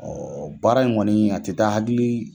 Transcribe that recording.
baara in kɔni a tɛ taa hakili